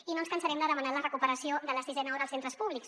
i no ens cansarem de demanar la recuperació de la sisena hora als centres públics